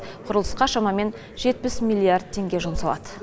құрылысқа шамамен жетпіс миллиард теңге жұмсалады